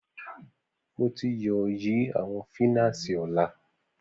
Mo ti yoo yi awọn finasi ọla